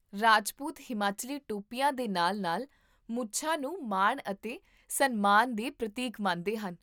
ਰਾਜਪੂਤ ਹਿਮਾਚਲੀ ਟੋਪੀਆਂ ਦੇ ਨਾਲ ਨਾਲ ਮੁੱਛਾਂ ਨੂੰ ਮਾਣ ਅਤੇ ਸਨਮਾਨ ਦੇ ਪ੍ਰਤੀਕ ਮੰਨਦੇ ਹਨ